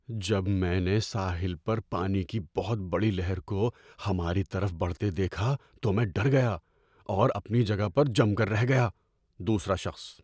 جب میں نے ساحل پر پانی کی بہت بڑی لہر کو ہماری طرف بڑھتے دیکھا تو میں ڈر گیا اور اپنی جگہ پر جم کر رہ گیا۔ (دوسرا شخص)